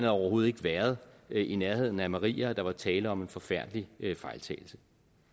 overhovedet ikke været i nærheden af maria og der var tale om en forfærdelig fejltagelse